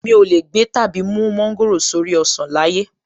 Mi ò lè gbé/ mú mọ́ńgòrò sórí ọsàn láyé!